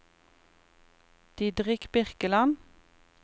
Didrik Birkeland